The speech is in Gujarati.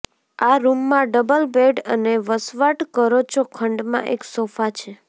આ રૂમ માં ડબલ બેડ અને વસવાટ કરો છો ખંડ માં એક સોફા છે